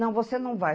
Não, você não vai.